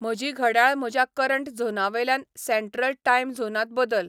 म्हजी घडयाळ म्हज्या करंट झोनावेल्यान सॅंट्रल टाइम झोनांत बदल